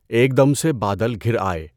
ایک دم سے بادل گھِر آئے